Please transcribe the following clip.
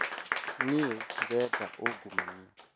Niĩ ndirenda ungumania